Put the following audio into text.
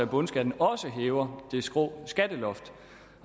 bundskatten også hæver det skrå skatteloft